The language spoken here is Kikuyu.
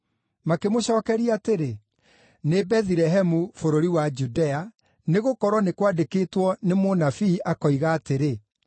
Makĩmũcookeria atĩrĩ, “Nĩ Bethilehemu, bũrũri wa Judea, nĩgũkorwo nĩ kwandĩkĩtwo nĩ mũnabii, akoiga atĩrĩ: